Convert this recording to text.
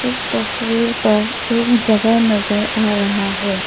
इस तस्वीर पर एक जगह नजर आ रहा है।